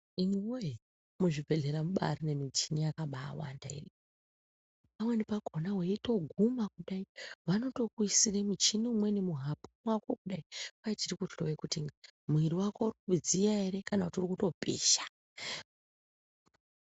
Imiwoye, muzvibhedhlera mubaari nemichini yakabaawanda. Imweni yakhona weitoguma kudai vanotokuisire muchini umweni muhapwa kudai, kwai tirikuhloye kuti mwiri wako urikudziya ere kana kuti urikutopisha.